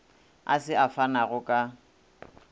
a se a fanago ka